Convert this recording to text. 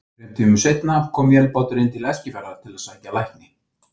Þrem tímum seinna kom vélbátur inn til Eskifjarðar til að sækja lækni.